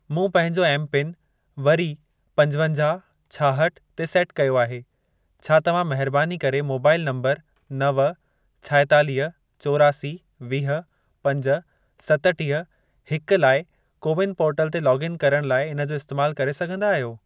मूं पहिंजो एमपिन वरी पंजवंजाहु, छाहठि ते सेट कयो आहे. छा तव्हां महिरबानी करे मोबाइल नंबर नव, छाएतालीह, चोरासी, वीह, पंज, सतुटीह, हिक लाइ कोविन पोर्टल ते लोगइन करण लाइ इन जो इस्तैमाल करे सघंदा आहियो?